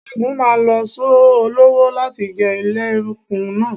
Ṣẹ́gun máa lo Sọ́ọ̀ ọlọ́wọ́ láti gé ilẹ̀kùn náà.